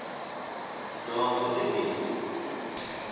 dyondzo i bindzu